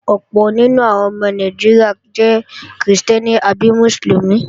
Ọ̀pọ̀ nínú àwọn ọmọ Nàìjíríà jẹ́ krìstẹ́nì àbí Mùsùlùmí